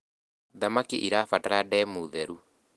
thamakĩ irabatara ndemu theru